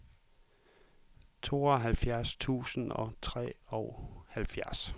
tooghalvfjerds tusind og treoghalvfjerds